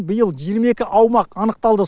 биыл жиырма екі аумақ анықталды